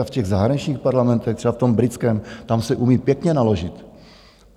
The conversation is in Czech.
A v těch zahraničních parlamentech, třeba v tom britském, tam si umí pěkně naložit.